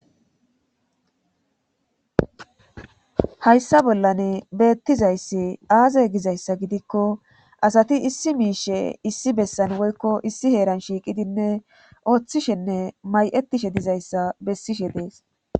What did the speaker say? Hayssa bollan beettizayssi aaza gizayssa gidikko asati issi miishe issi bessan woykko issi heeran shiiqidinne ooththishenne may'etishe dizayssa bessishe dees.